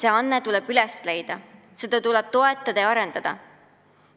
Ja anne tuleb üles leida, seda tuleb toetada ja arendada.